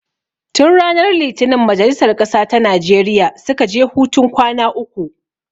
Tun ranar litinin majalisar ƙasa ta Najeriya suka je hutun kwana uku